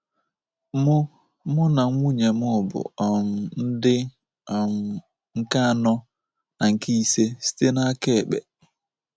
Mụ Mụ na nwunye m bụ um ndị um nke anọ na nke ise site n’aka ekpe.